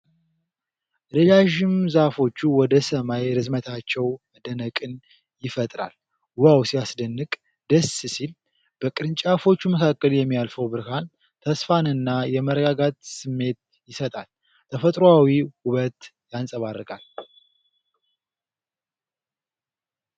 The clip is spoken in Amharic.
ረዣዥም ዛፎቹ ወደ ሰማይ ርዝመታቸው መደነቅን ይፈጥራል ። 'ዋው ሲያስደንቅ !'፣ ደስ ሲል !በቅርንጫፎቹ መካከል የሚያልፈው ብርሃን ተስፋንና የመረጋጋት ስሜት ይሰጣል ። ተፈጥሯዊ ውበት ያንጸባርቃል ።